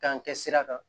K'an kɛ sira kan